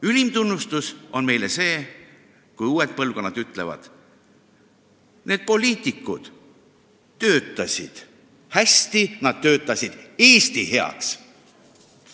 Ülim tunnustus on meile see, kui uued põlvkonnad ütlevad: need poliitikud töötasid hästi, nad töötasid Eesti heaks.